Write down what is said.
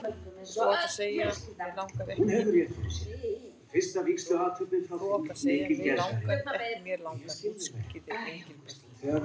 Þú átt að segja mig langar, ekki mér langar útskýrði Engilbert.